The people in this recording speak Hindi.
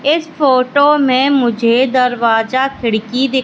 इस फोटो में मुझे दरवाजा खिड़की दी--